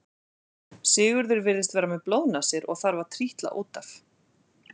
Sigurður virðist vera með blóðnasir og þarf að trítla út af.